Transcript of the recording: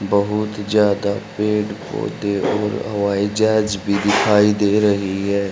बहुत ज्यादा पेड़ पौधे और हवाई जहाज भी दिखाई दे रही है।